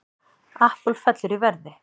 Apple fellur í verði